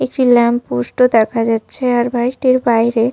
একটি lamp post ও দেখা যাচ্ছে আর বাড়িটির বাইরে।